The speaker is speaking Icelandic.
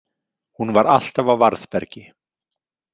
Hún var alltaf á varðbergi.